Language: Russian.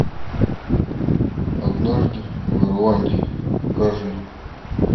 однажды в ирландии покажи